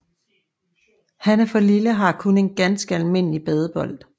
Han er for lille og har kun en ganske almindelig badebold